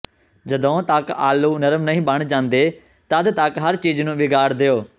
ਜਦੋਂ ਤਕ ਆਲੂ ਨਰਮ ਨਹੀਂ ਬਣ ਜਾਂਦੇ ਤਦ ਤਕ ਹਰ ਚੀਜ਼ ਨੂੰ ਵਿਗਾੜ ਦਿਓ